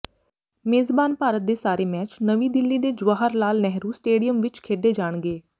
ਮੇਜ਼ਬਾਨ ਭਾਰਤ ਦੇ ਸਾਰੇ ਮੈਚ ਨਵੀਂ ਦਿੱਲੀ ਦੇ ਜਵਾਹਰ ਲਾਲ ਨੇਹਰੂ ਸਟੇਡੀਅਮ ਵਿੱਚ ਖੇਡੇ ਜਾਣਗੇ